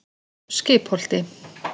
Skipholti